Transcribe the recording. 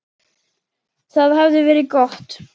Það hafði verið gott.